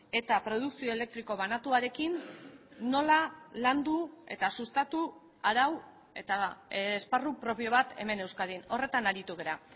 eta produkzio elektriko banatuarekin nola landu eta sustatu arau eta esparru propio bat hemen euskadin horretan aritu gara